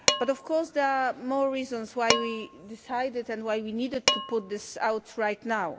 Of course, there are more reasons why we decided to and why we needed to put this out right now.